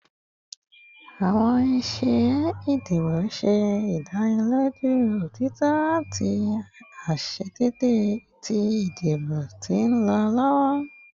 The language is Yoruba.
Awọn iṣe idibo ṣe idaniloju otitọ ati aiṣedeede ti idibo ti nlọ lọwọ